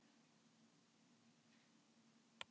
Allar grétu þær.